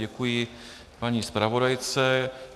Děkuji paní zpravodajce.